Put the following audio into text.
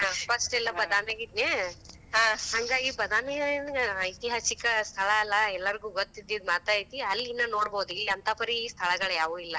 ಹಾ, first ಎಲ್ಲ ಬಾದಾಮೇಗ ಇದ್ನಾ, ಹಂಗ ಆಗಿ, ಬಾದಾಮಿ ಏನ್ ಐತಿಹಾಸಿ ಸ್ಥಳ ಅಲ್ಲ. ಎಲ್ಲರಿಗೂ ಗೊತ್ ಇದ್ದಿದ್ ಮಾತ ಐತಿ. ಅಲ್ಲಿನ ನೋಡ್ಬೋದು, ಇಲ್ಲಿ ಅಂತಾ ಪರಿ ಸ್ಥಳಗಳು ಯಾವಿಲ್ಲ.